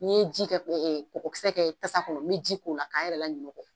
N'i ye ji kɛ ɛ ɛ kɔgɔ kisɛ kɛ tasa kɔnɔ n be ji k'ola k'a n yɛrɛ la ɲinɛɔ o kɔ